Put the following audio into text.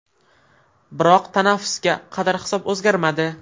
Biroq tanaffusga qadar hisob o‘zgarmadi.